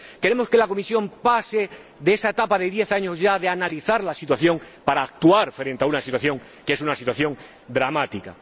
Queremos que la Comisión pase de esa etapa de diez años ya de analizar la situación para actuar frente a una situación que es dramática.